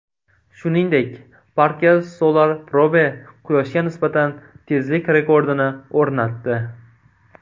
Shuningdek, Parker Solar Probe Quyoshga nisbatan tezlik rekordini o‘rnatdi.